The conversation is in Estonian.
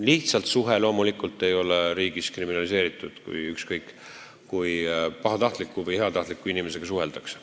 Lihtsalt suhe ei ole loomulikult riigis kriminaliseeritud, ükskõik kui pahatahtliku või heatahtliku inimesega suheldakse.